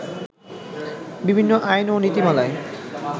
বিভিন্ন আইন ও নীতিমালায়